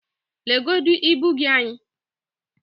legodu ibu gị anyị